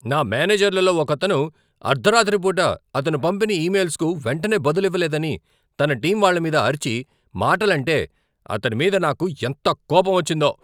నా మేనేజర్లలో ఒకతను అర్ధరాత్రి పూట అతను పంపిన ఇమెయిల్స్కు వెంటనే బదులివ్వలేదని తన టీం వాళ్ళమీద అరిచి, మాటలంటే అతడి మీద నాకు ఎంత కోపమొచ్చిందో.